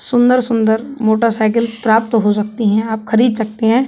सुंदर-सुंदर मोटरसाइकिल प्राप्त हो सकती हैं। आप खरीद सकते हैं।